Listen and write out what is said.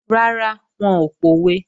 Rárá, wọn ò pòwe